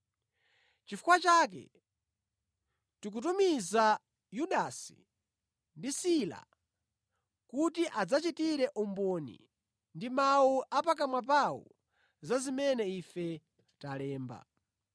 Nʼchifukwa chake, tikutumiza Yudasi ndi Sila kuti adzachitire umboni ndi mawu a pakamwa pawo za zimene ife talemba.